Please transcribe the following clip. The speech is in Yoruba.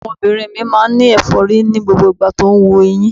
Ọmọbìnrin mi máa ń ní ẹ̀fọ́rí ní gbogbo ìgbà tó ń wu eyín.